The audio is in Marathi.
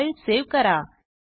फाईल सेव्ह करा